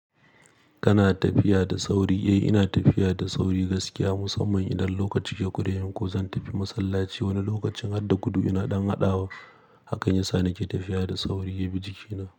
Kana tafiya da sauri? Eh ina tafiya da sauri gaskiya musamman idan lokaci ya kuremin. Ko zan tafi masallaci wani lokacin hadda gudu ina ɗan haɗawa. Hakan yasa nake tafiya da sauri yabi jikina.